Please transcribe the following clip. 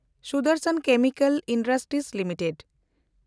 Sudarshan chemical industries limited